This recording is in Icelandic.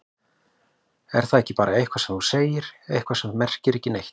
Er það ekki bara eitthvað sem þú segir, eitthvað sem merkir ekki neitt?